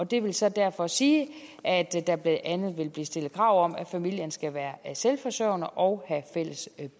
det vil så derfor sige at der blandt andet vil blive stillet krav om at familien skal være selvforsørgende og have fælles